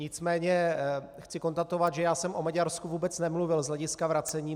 Nicméně chci konstatovat, že já jsem o Maďarsku vůbec nemluvil z hlediska vracení.